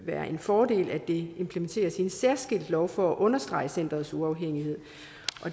være en fordel at det implementeres i en særskilt lov for at understrege centerets uafhængighed